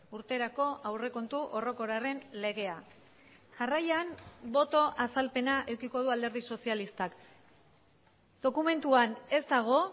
urterako aurrekontu orokorraren legea jarraian boto azalpena edukiko du alderdi sozialistak dokumentuan ez dago